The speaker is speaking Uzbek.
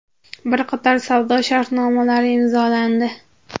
bir qator savdo shartnomalari imzolandi.